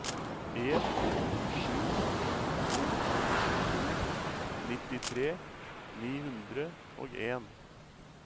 en sju to to nittitre ni hundre og en